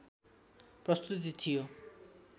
प्रस्तुति थियो